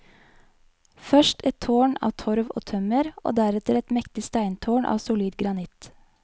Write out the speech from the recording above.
Først et tårn av torv og tømmer, og deretter et mektig steintårn av solid granitt.